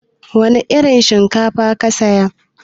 Wana irin shinkafa ka saya?